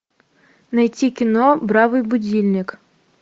найти кино бравый будильник